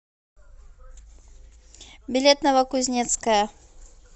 билет новокузнецкая